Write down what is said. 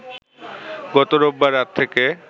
গত রোববার রাত থেকে